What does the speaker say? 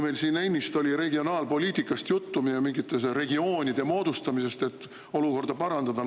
Meil oli siin ennist juttu regionaalpoliitikast ja mingite regioonide moodustamisest, et olukorda parandada.